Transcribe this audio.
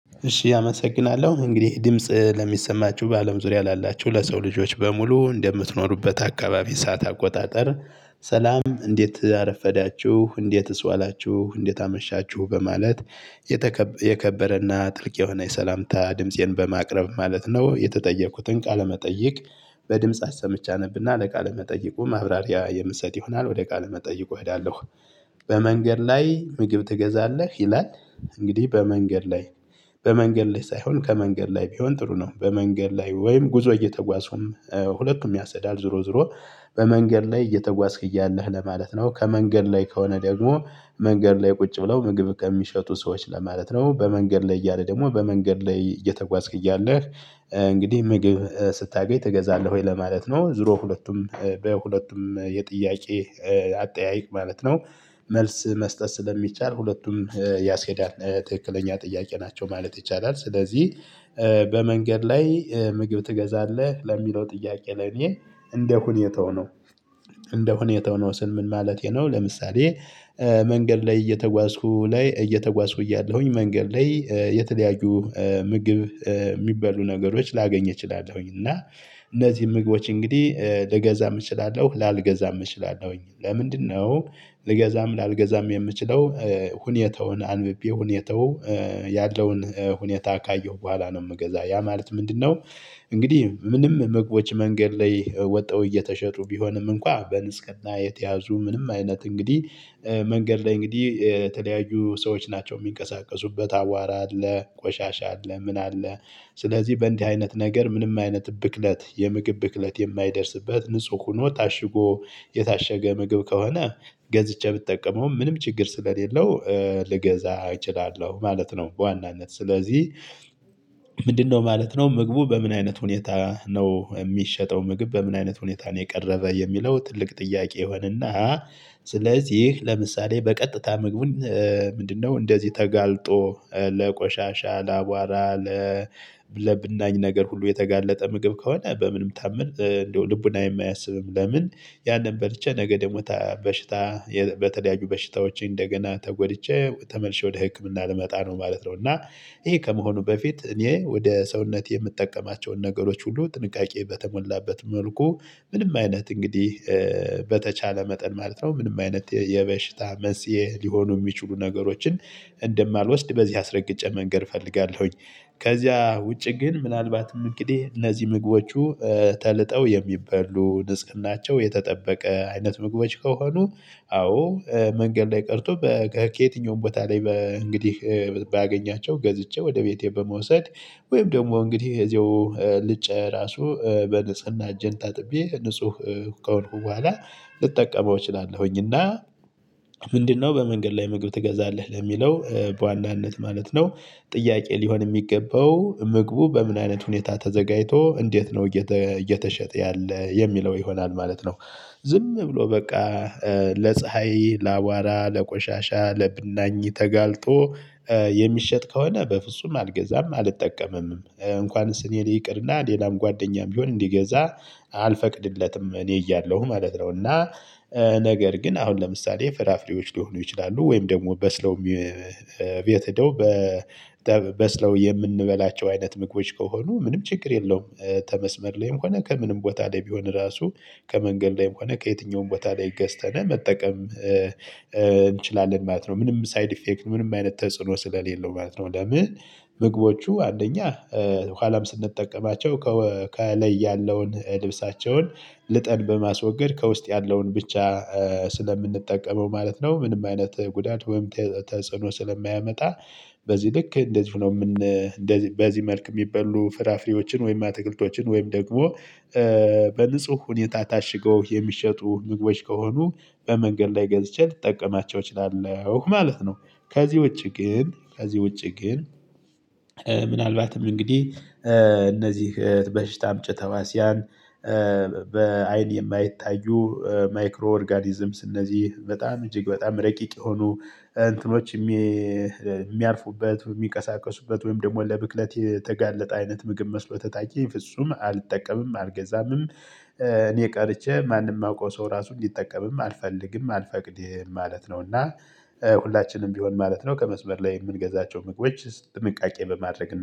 እሺ አመሰግናለሁ እንግዲ ይህ ድምጽ ለሚሰማችሁ በአለም ዙሪያ ላላችሁ ለሰው ልጆች በሙሉ እንደምትኖሩበት አካባቢ ሰዓት አቆጣጠር። ሰላም እንዴት አረፈዳችሁ እንዴትስ ዋላችሁ እንዴት አመሻችሁ በማለት የከበረና ጥልቅ የሆነ የሰላምታ ድምፄን በማቅረብ ማለት ነው የተጠየኩትን ቃለመጠይቅ። በድምጽ አሰምቼ አነብና ለቃለመጠይቁ ማብራሪያ የምሰጥ ይሆናል ወደ ቃለመጠይቁ እሄዳለሁ። በመንገድ ላይ ምግብ ትገዛለህ? ይላል። እንግዲህ በመንገድ ላይ በመንገድ ላይ ሳይሆን ከመንገድ ላይ ቢሆን ጥሩ ነው። በመንገድ ላይ ወይም ጉዞ እየተጓዝኩም ሁለቱም ያስኬዳል። ዞሮ ዞሮ በመንገድ ላይ እየተጓዝክ እያለህ ለማለት ነው። ከመንገድ ላይ ከሆነ ደግሞ መንገድ ላይ ቁጭ ብለው ምግብ ከሚሸጡ ሰዎች ለማለት ነው። በመንገድ ላይ እያለ ደግሞ በመንገድ ላይ እየተጓዝክ እያለህ እንግዲህ ምግብ ስታገኝ ትገዛለህ ወይ ለማለት ነው። ዙሮ ሁለቱም በሁለቱም የጥያቄ አጠያይቅ ማለት ነው። መልስ መስጠት ስለሚቻል ሁለቱም ያስሄዳል ትክክለኛ ጥያቄ ናቸው ማለት ይቻላል። ስለዚህ በመንገድ ላይ ምግብ ትገዛለህ ለሚለው ጥያቄ ለኔ እንደሁኔታው ነው። እንደሁኔታው ነው ስል ምን ማለቴ ነው። ለምሳሌ መንገድ ላይ እየተጓዝኩ ላይ እየተጓዝኩ እያለሁኝ መንገድ ላይ የተለያዩ ምግብ የሚበሉ ነገሮች ላገኝ እችላለሁኝ። እና እነዚህን ምግቦች እንግዲህ ልገዛም እችላለሁ ላልገዛም እችላለሁኝ። ለምንድነው? ልገዛም ላልገዛም የምችለው ሁኔታውን አንብቤ ሁኔታው ያለውን ሁኔታ ካየሁ በኋላ ነው። የምገዛ ያ ማለት ምንድነው? እንግዲህ ምንም ምግቦች መንገድ ላይ ወጥተው እየተሸጡ ቢሆንም እንኳን በንጽህና የተያዙ ምንም አይነት እንግዲህ። መንገድ ላይ እንግዲህ የተለያዩ ሰዎች ናቸው የሚንቀሳቀሱበት አቧራ አለ ቆሻሻ አለ ምን አለ። ስለዚህ በእንዲህ አይነት ነገር ምንም አይነት ብክለት የምግብ ብክለት የማይደርስበት ንጹህ ሆኖ ታሽጎ የታሸገ ምግብ ከሆነ። ገዝቼ ብጠቀመው ምንም ችግር ስለሌለው ልገዛ እችላለሁ ማለት ነው። በዋናነት ስለዚህ። ምንድነው ማለት ነው ምግቡ በምን አይነት ሁኔታ ነው የሚሸጠው ምግብ በምን አይነት ሁኔታ ነው የቀረበ የሚለው ትልቅ ጥያቄ ይሆንና። ስለዚህ ለምሳሌ በቀጥታ ምግቡን ምንድነው እንደዚህ ተጋልጦ ለቆሻሻ ለአቧራ። ለብናኝ ነገር ሁሉ የተጋለጠ ምግብ ከሆነ በምንም ታምር እንደው ልቡናዬም አያስብም። ለምን? ያንን በልቼ ነገ ደግሞ በሽታ በተለያዩ በሽታዎች እንደገና ተጎድቼ ተመልሼ ወደ ህክምና ልመጣ ነው ማለት ነው። እና ይሄ ከመሆኑ በፊት እኔ ወደ ሰውነቴ የምጠቀማቸውን ነገሮች ሁሉ ጥንቃቄ በተሞላበት መልኩ ምንም አይነት እንግዲህ በተቻለ መጠን ማለት ነው። ምንም አይነት የበሽታ መንስኤ ሊሆኑ የሚችሉ ነገሮችን እንደማልወስድ በዚህ አስረግጬ መንገር እፈልጋለሁኝ። ከዚያ ውጪ ግን ምናልባትም እንግዲህ እነዚህ ምግቦቹ ተልጠው የሚበሉ ንጽህናቸው የተጠበቀ አይነት ምግቦች ከሆኑ። አዎ መንገድ ላይ ቀርቶ ከየትኛውም ቦታ ላይ እንግዲህ ባገኛቸው ገዝቼ ወደ ቤቴ በመውሰድ ወይም ደግሞ እንግዲህ እዚያው ልጨ ራሱ በንጽህና እጄን ታጥቤ ንጹህ ከሆንኩ በኋላ ልጠቀመው እችላለሁኝ። እና ምንድነው በመንገድ ላይ ምግብ ትገዛለህ ለሚለው በዋናነት ማለት ነው። ጥያቄ ሊሆን የሚገባው ምግቡ በምን አይነት ሁኔታ ተዘጋጅቶ እንዴት ነው እየተሸጠ ያለ የሚለው ይሆናል ማለት ነው። ዝም ብሎ በቃ ለፀሀይ ለአቧራ ለቆሻሻ ለብናኝ ተጋልጦ። የሚሸጥ ከሆነ በፍጹም አልገዛም አልጠቀምም እንኳንስ እኔ ይቅርና ሌላም ጓደኛም ቢሆን እንዲገዛ አልፈቅድለትም እኔ እያለሁ ማለት ነው። እና ነገር ግን አሁን ለምሳሌ ፍራፍሬዎች ሊሆኑ ይችላሉ። ወይም ደግሞ በስለው ቤት ሄደው በስለው የምንበላቸው አይነት ምግቦች ከሆኑ ምንም ችግር የለውም። ተመስመር ላይም ሆነ ከምንም ቦታ ላይ ቢሆን ራሱ ከመንገድ ላይም ሆነ ከየትኛውም ቦታ ላይ ገዝተን መጠቀም እንችላለን ማለት ነው። ምንም ሳይድ ኢፌክት ምንም አይነት ተጽዕኖ ስለሌለው ማለት ነው። ለምን ምግቦቹ አንደኛ ኋላም ስንጠቀማቸው ከላይ ያለውን ልብሳቸውን ልጠን በማስወገድ ከውስጥ ያለውን ብቻ ስለምንጠቀመው ማለት ነው። ምንም አይነት ጉዳት ወይም ተጽዕኖ ስለማያመጣ። በዚህ ልክ እንደዚሁ ነው እንደዚህ በዚህ መልክ የሚበሉ ፍራፍሬዎችን ወይም አትክልቶችን ወይም ደግሞ በንጹህ ሁኔታ ታሽገው የሚሸጡ ምግቦች ከሆኑ። በመንገድ ላይ ገዝቼ ልጠቀማቸው እችላለሁ ማለት ነው። ከዚህ ውጪ ግን ከዚህ ውጪ ግን። ምናልባትም እንግዲህ እነዚህ በሽታ አምጭ ተህዋሲያን በአይን የማይታዩ ማይክሮ ኦርጋኒዝምስ እነዚህ በጣም እጅግ በጣም ረቂቅ የሆኑ እንትኖች። የሚያርፉበት የሚቀሳቀሱበት ወይም ደግሞ ለብክለት የተጋለጠ አይነት ምግብ መስሎ ተታዬኝ ፍጹም አልጠቀምም አልገዛምም። እኔ ቀርቼ ማንም የማውቀው ሰው ራሱ እንዲጠቀምም አልፈልግም አልፈቅድም ማለት ነው። እና ሁላችንም ቢሆን ማለት ነው ከመስመር ላይ የምንገዛቸው ምግቦች ጥንቃቄ በማድረግ እና